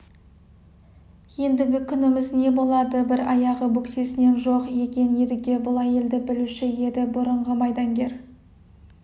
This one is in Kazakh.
ендігі күніміз не болады бір аяғы бөксесінен жоқ екен едіге бұл әйелді білуші еді бұрынғы майдангер